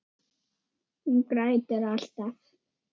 Hún grætur alltaf.